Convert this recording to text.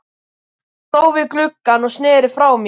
Hann stóð við gluggann og sneri frá mér.